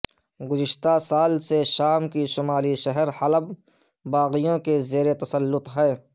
گزشتہ سال سے شام کے شمالی شہر حلب باغیوں کے زیر تسلط ہے